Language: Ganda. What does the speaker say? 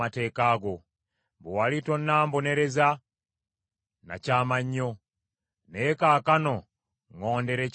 Bwe wali tonnambonereza nakyama nnyo, naye kaakano ŋŋondera ekigambo kyo.